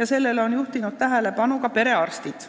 ja sellele on juhtinud tähelepanu ka perearstid.